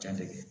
Jan tɛ